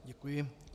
Děkuji.